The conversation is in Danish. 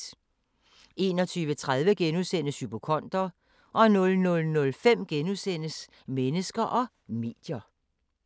21:30: Hypokonder * 00:05: Mennesker og medier *